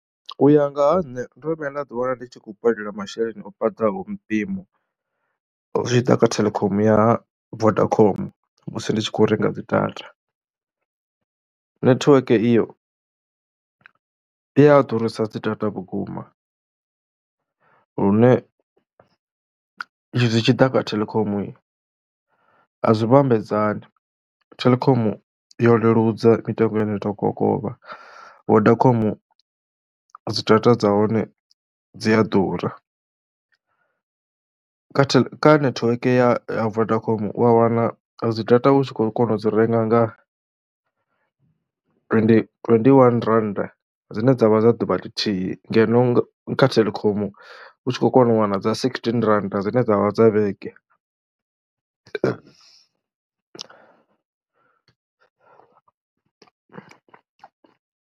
U ya nga ha nṋe ndo no vhuya nda ḓiwana ndi tshi khou badela masheleni o fhaṱaho mpimo, zwi tshi ḓa kha Telkom ya ha Vodacom musi ndi tshi kho renga dzi data. Netiweke iyo i ya ḓurisa dzi data vhukuma lune zwi tshi ḓa kha Telkoma a zwi vhambedzani, Telkom yo leludza mitengo ya hone tou kokovha. Vodacom dzi data dza hone dzi a ḓura kha tel, kha netiweke ya Vodacom u ya wana dzi data u tshi khou kona u dzi renga nga twendiwani rannda, dzine dza vha dza ḓuvha ḽithihi ngeno kha Telkom u tshi khou kona u wana dza sigisitini rannd adzine dza vha dza vhege.